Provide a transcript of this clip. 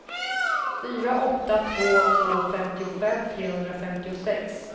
fyra åtta två två femtiofem trehundrafemtiosex